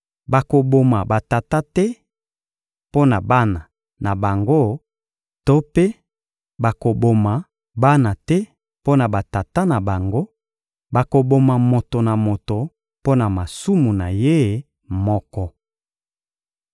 Bakoboma batata te mpo na bana na bango to mpe bakoboma bana te mpo na batata na bango; bakoboma moto na moto mpo na masumu na ye moko.